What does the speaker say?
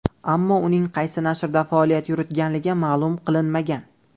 Ammo uning qaysi nashrda faoliyat yuritganligi ma’lum qilinmagan.